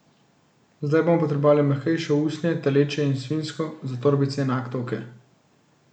Zdaj bomo potrebovali mehkejše usnje, telečje in svinjsko, za torbice in aktovke.